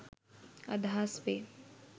අදහස් වේ.